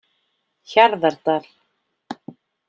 Hjarðardal